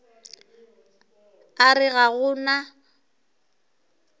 a re ga go na